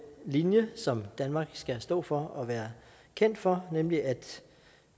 linje som danmark skal stå for og være kendt for nemlig at